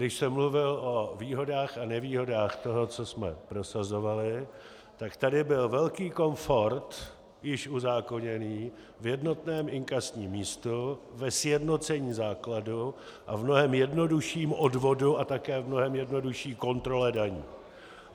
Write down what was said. Když jsem mluvil o výhodách a nevýhodách toho, co jsme prosazovali, tak tady byl velký komfort již uzákoněný v jednotném inkasním místu, ve sjednocení základu a v mnohem jednodušším odvodu a také v mnohem jednodušší kontrole daní.